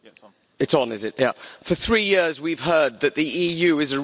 For three years we've heard that the EU is a rules based system.